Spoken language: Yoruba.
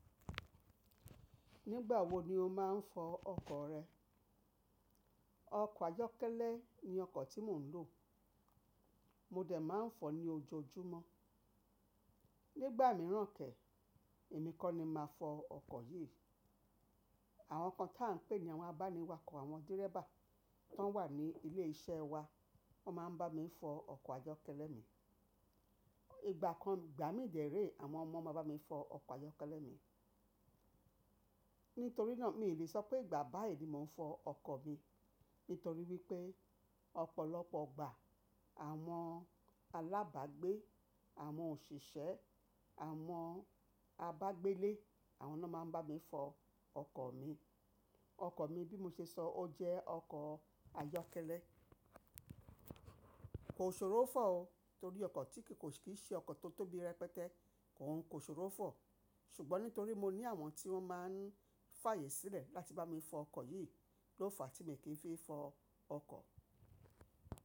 Nígbà wo ni o máa ń fọ ọkọ̀ rẹ? Ọkọ̀ ayọ́kẹ́lẹ́ ni ọkọ̀ tí mò ń lò. Mo dẹ̀ máa ń fọ ní ojoojúmọ́. Nígbà mìíràn kẹ́, èmi kọ́ ni màá fọ ọkọ̀ yìí. Àwọn kan tá ń pè ní àwọn abániwàkọ̀, àwọn dẹ́rẹ́bà tó wà ní ilé iṣẹ́ wa, wọ́n máa ń bá mi fọ ọkọ̀ ayọ́kẹ́lẹ́ mi. Ìgbà kan, ìgbà mí dèré àwọn ọmọ máa bá mi fọ ọkọ̀ ayọ́kẹ́lẹ́ mi. Nítorí náà mi ò lè sọ pé ìgbà báyìí ni mò ń fọ ọkọ̀ mi. Nítorí wípé ọ̀pọ̀lọpọ̀ ọgbà àwọn alábàágbé, àwọn òṣìṣẹ́, àwọn abágbélé àwọn náà máa ń bá mi fọ ọkọ̀ mi. Ọkọ̀ mi bí mo ṣe sọ ó jẹ́ ọkọ̀ ayọ́kẹ́lẹ́. Kò ṣòro fọ̀ ọ, torí ọkọ̀ tí kì í ṣe ọkọ̀ tó tóbi rẹpẹtẹ kò ń ṣòro fọ̀. Ṣùgbọ́n nítorí mo ní àwọn tí wọ́n máa ń fààyè sílẹ̀ láti bá mi fọ ọkọ̀ yìí ló fa tí mi kì í fi fọ ọkọ̀.